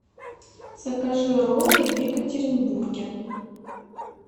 закажи роллы в екатеринбурге